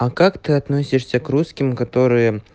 а как ты относишься к русским которые